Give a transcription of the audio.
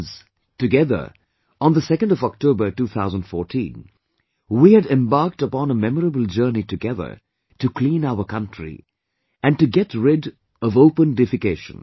Friends together, on October 2, 2014, we had embarked on a memorable journey together to clean our country and to get rid of open defecation